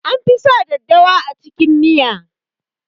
An fi sa daddawa a cikin miya